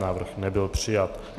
Návrh nebyl přijat.